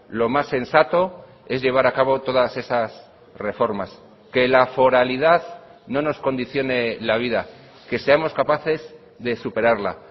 lo más sensato es llevar a cabo todas esas reformas que la foralidad no nos condicione la vida que seamos capaces de superarla